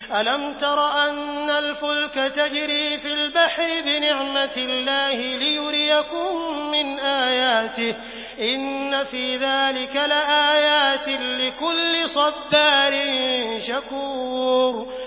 أَلَمْ تَرَ أَنَّ الْفُلْكَ تَجْرِي فِي الْبَحْرِ بِنِعْمَتِ اللَّهِ لِيُرِيَكُم مِّنْ آيَاتِهِ ۚ إِنَّ فِي ذَٰلِكَ لَآيَاتٍ لِّكُلِّ صَبَّارٍ شَكُورٍ